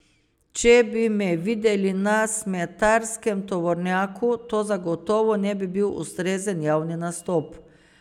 Če bi me videli na smetarskem tovornjaku, to zagotovo ne bi bil ustrezen javni nastop.